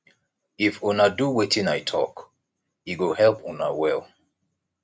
if una do wetin i talk e go help una well